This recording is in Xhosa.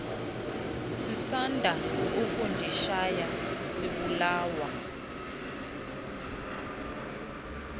sisanda ukundishiya sibulawa